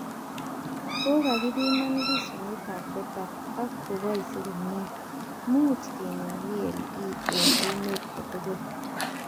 Kokakepiman versionitab beta ak koboisi komie, much kenem VLE eng emet kotugul